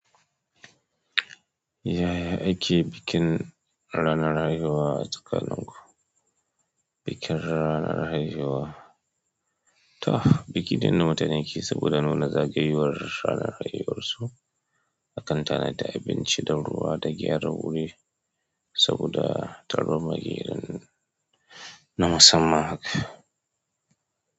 Ya ya ake bikin ranar haihuwa a tsakanin ku, bikin ranar haihuwa. To, biki ne da mutane keyi saboda nuna zagayowar ranar haihuwarsu a kan tana da abinci da ruwa da gyara wuri saboda tarone na musamman.